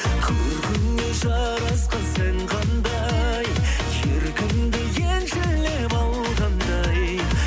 көркіңе жарасқан сән қандай еркіңді елшілеп алғандай